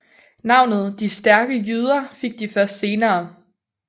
Navnet De stærke jyder fik de først senere